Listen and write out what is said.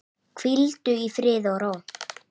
Hvíldu í friði og ró.